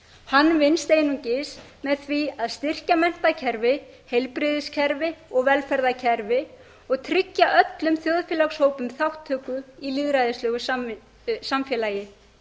hann vinnst einungis með því að styrkja menntakerfi heilbrigðiskerfi og velferðarkerfi og tryggja öllum þjóðfélagshópum þátttöku í lýðræðislegu samfélagi